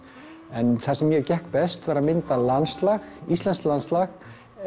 en það sem mér gekk best var að mynda landslag íslenskt landslag